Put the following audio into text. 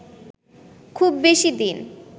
খুব বেশি দিন